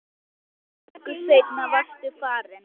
Tæpri viku seinna varstu farinn.